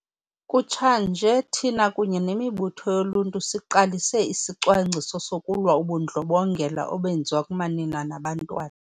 Kutshanje, thina, kunye nemibutho yoluntu, siqalise isicwangciso sokulwa ubundlobongela obenziwa kumanina nabantwana.